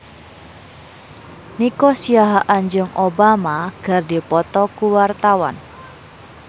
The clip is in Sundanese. Nico Siahaan jeung Obama keur dipoto ku wartawan